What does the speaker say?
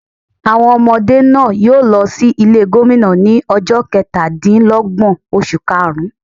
Àwọn ọmọdé náà yóò lo sí Ilé Gómìnà ní ojó Ketàdínlógbòn oṣù kaàrún